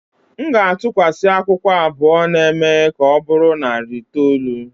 M ga-atụkwasị akwụkwọ abụọ na-eme ka ọ bụrụ narị itoolu.